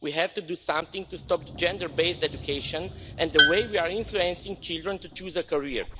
We have to do something to stop gender-based education and the way we are influencing children to choose a career.